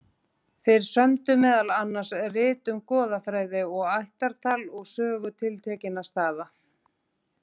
Þeir sömdu meðal annars rit um goðafræði og ættartal og sögu tiltekinna staða.